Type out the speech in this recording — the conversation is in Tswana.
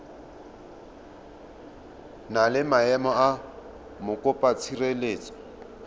na le maemo a mokopatshireletso